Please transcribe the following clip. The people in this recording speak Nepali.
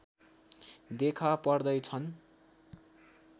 देखा पर्दैछन्